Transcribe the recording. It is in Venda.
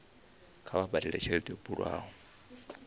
kha vha badele tshelede yo bulwaho